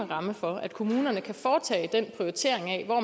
ramme for at kommunerne kan foretage den prioritering af hvor